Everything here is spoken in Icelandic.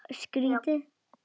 Tala mikið á meðan.